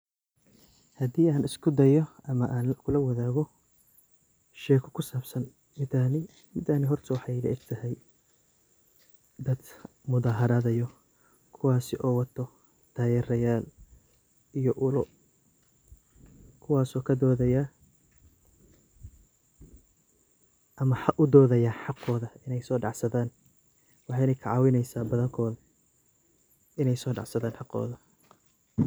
Hadhi aan iskudayo ama an kulawadago, sheko kusabsan cidani, cidan waxay ilaegtahay dad mudaharadayo, kuwasi oo wato tayerayal iyo uloo, kuwas oo kadodaya ama udodaya hagoda inay sodacsadan, waxayna kacawineysa dadka inay sodacsadan hagoda.